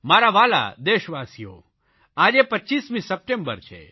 મારા વ્હાલા દેશવાસીઓ આજે 25મી સપ્ટેમ્બર છે